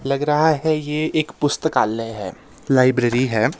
लग रहा है ये एक पुस्तकालय है लाइब्रेरी है.